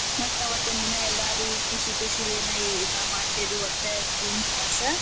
ಮತ್ತ್ ಅವತ್ತ್ ಒಂದಿನಾ ಎಲ್ಲರೂ ಖುಷಿ ಖುಷಿಲೇನ ಊಟಾ ಮಾಡ್ತೇವೀ ಒಟ್ಟ ಕುಂತ್ ಕಾಸ.